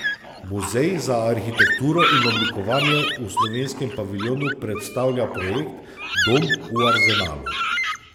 Muzej za arhitekturo in oblikovanje v slovenskem paviljonu predstavlja projekt Dom v Arzenalu.